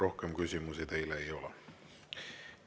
Rohkem küsimusi teile ei ole.